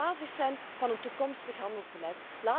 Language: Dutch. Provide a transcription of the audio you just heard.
Dat moet de basis zijn van een toekomstig handelsbeleid.